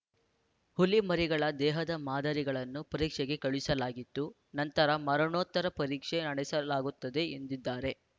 ಹುಲಿ ಮರಿಗಳ ದೇಹದ ಮಾದರಿಗಳನ್ನು ಪರೀಕ್ಷೆಗೆ ಕಳುಹಿಸಲಾಗಿದ್ದು ನಂತರ ಮರಣೋತ್ತರ ಪರೀಕ್ಷೆ ನಡೆಸಲಾಗುತ್ತದೆ ಎಂದಿದ್ದಾರೆ